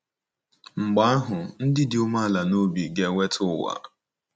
Mgbe ahụ, “ndị dị umeala n’obi ga-enweta ụwa.”